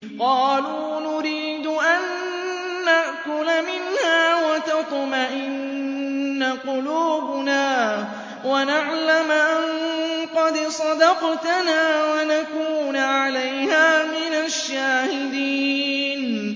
قَالُوا نُرِيدُ أَن نَّأْكُلَ مِنْهَا وَتَطْمَئِنَّ قُلُوبُنَا وَنَعْلَمَ أَن قَدْ صَدَقْتَنَا وَنَكُونَ عَلَيْهَا مِنَ الشَّاهِدِينَ